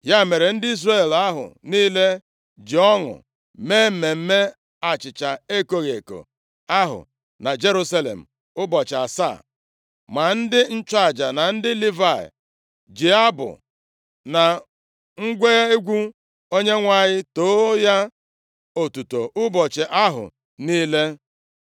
Ya mere, ndị Izrel ahụ niile ji ọṅụ mee mmemme achịcha ekoghị eko ahụ na Jerusalem ụbọchị asaa. Ma ndị nchụaja na ndị Livayị ji abụ na ngwa egwu Onyenwe anyị too ya otuto ụbọchị ahụ niile.